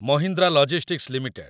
Mahindra logistics limited